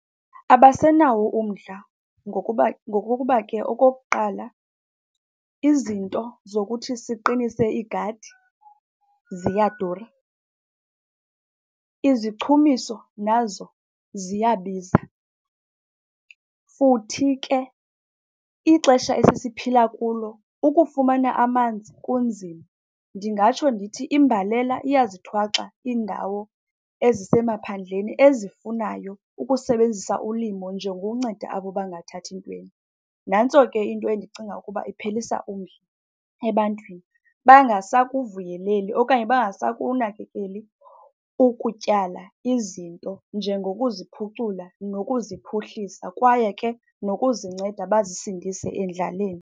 Abasenawo umdla ngokuba ngokokuba ke okokuqala, izinto zokuthi siqinise iigadi ziyadura. Izichumiso nazo ziyabiza, futhi ke ixesha esiphila kulo ukufumana amanzi kunzima. Ndingatsho ndithi imbalela iyazithwaxa iindawo ezisemaphandleni ezifunayo ukusebenzisa ulimo njengokunceda abo bangathathintweni. Nantso ke into endicinga ukuba iphelisa umdla ebantwini, bangasakuvuyeleli okanye bangasakunakekeli ukutyala izinto njengokuziphucula nokuziphuhlisa, kwaye ke nokuzinceda bazisindise endlaleni.